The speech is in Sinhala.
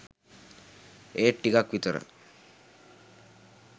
ඒත් ටිකක් විතර